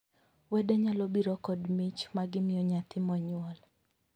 Wede nyalo biro kod mich ma gimiyo nyathi monyuol.